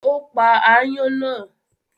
Ó pa aáyán náà?